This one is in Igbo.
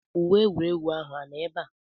Uwe egwuregwu ahụ anọ ebe a?